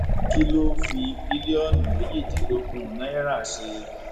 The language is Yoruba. kí ló fi bílíọnù méjìdínlógún náírà ṣe